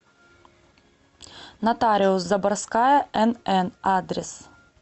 нотариус заборская нн адрес